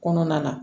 Kɔnɔna na